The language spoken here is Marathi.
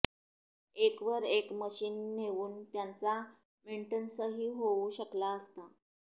एकवर एक मशिन नेऊन त्याचा मेंटनन्सही होऊ शकला असता